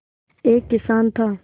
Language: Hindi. एक किसान था